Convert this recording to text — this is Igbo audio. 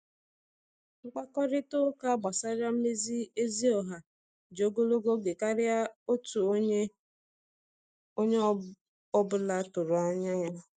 Mkpakorịta ụka gbasara mmezi ezi ọha ji ogologo oge karịa otu onye ọ bụla tụrụ anya ya.